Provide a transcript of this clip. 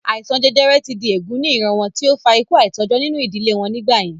Àìsàn jẹjẹrẹ ti di èègún ní ìran wọn tí ó fa ikú àìtọ́jọ́ nínú ìdílé wọn nígbà yẹn